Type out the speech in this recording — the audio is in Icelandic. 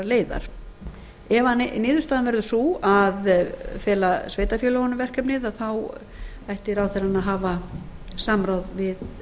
leiðar verði niðurstaðan sú að fela sveitarfélögunum verkefnið ætti ráðherrann að hafa samráð við